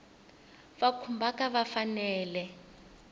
va khumbhaka va fanele ku